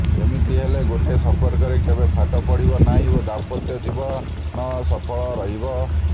ଏମିତି ହେଲେ ଗୋଟେ ସମ୍ପର୍କରେ କେବେ ଫାଟ ପଡିବ ନାହିଁ ଓ ଦାମ୍ପତ୍ୟ ଜୀବନ ସଫଳ ରହିବ